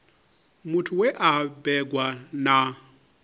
muthu we a bebwa na